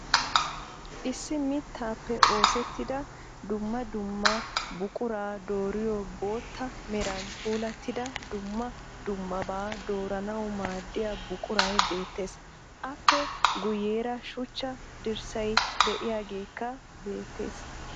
Issi mittaappe oosettida summa dumma buquraa dooriyo bootta meran puulattida dumma dummabaa dooranawu maaddiya buquray beettes. Aappe guyyeera shuchcha diyssay diyageekka beettes.